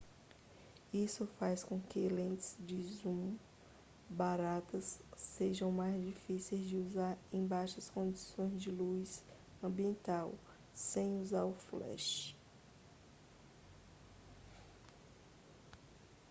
isso faz com que lentes de zoom baratas sejam mais difíceis de usar em baixas condições de luz ambiente sem usar o flash